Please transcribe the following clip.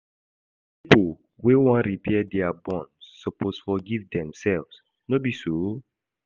Pipo wey wan repair their bond suppose forgive themselves, no be so?